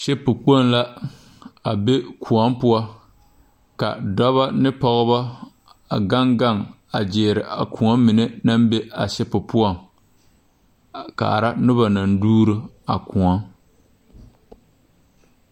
Shipu kpoŋ la a be kõɔ poɔ ka dɔbɔ ne pɔgebɔ a gaŋ gaŋ gyiire a kõɔ mine naŋ be a shipu poɔŋ a kaara nobɔ naŋ dugro a kõɔŋ.